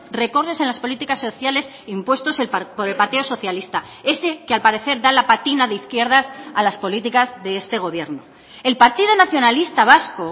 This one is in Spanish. recortes en las políticas sociales impuestos por el partido socialista ese que al parecer da la patina de izquierdas a las políticas de este gobierno el partido nacionalista vasco